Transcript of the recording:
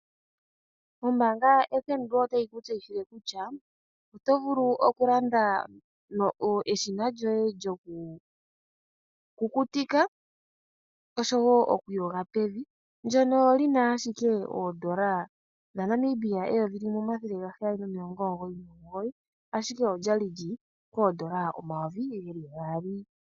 Ombaanga yoFNB otayi ku tseyithile kutya oto vulu okulanda eshina lyoye lyokukutika osho wo okuyoga pevi ndyono li na ashike N$ 1 799, ashike olya li lyi li pooN$ 2000.